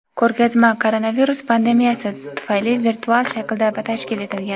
Ko‘rgazma koronavirus pandemiyasi tufayli virtual shaklda tashkil etilgan.